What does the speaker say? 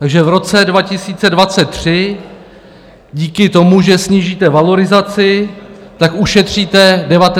Takže v roce 2023 díky tomu, že snížíte valorizaci, ušetříte 19,4 miliardy.